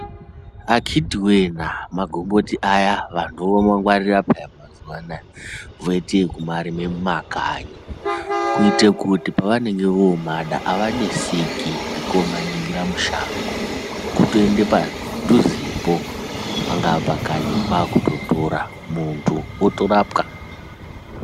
Akiti wee na magoboti aya vantu vomangwarira pya mazuva anaa .Voite kumarima mumakanyi ,kuite kuti pavanengevomada avaneseki ngekomaningira mushango .Kutoende padhuzepo ,pangaapakanyi kwakutotora ,muntu otorapwa.